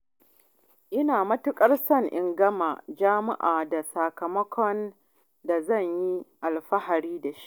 Ina matuƙar so na gama jami'a da sakamakon da zan yi alfahari da shi.